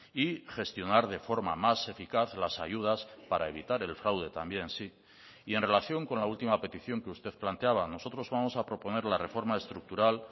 y gestionar de forma más eficaz las ayudas para evitar el fraude también en relación con la última petición que usted planteaba nosotros vamos a proponer la reforma estructural